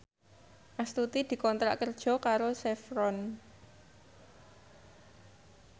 Astuti dikontrak kerja karo Chevron